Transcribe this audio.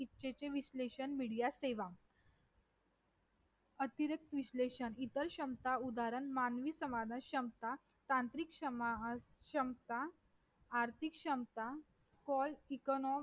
परंतु अनेक राजकीय गोष्टी असतील किंवा धार्मिक गोष्टी असतील.